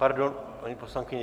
Pardon, paní poslankyně.